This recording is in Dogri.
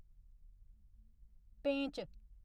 पेंच